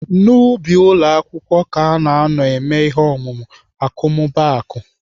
N'ubi ụlọ akwụkwọ ka ana anọ eme ihe omume akọmmụbaaku.